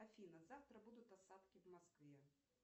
афина завтра будут осадки в москве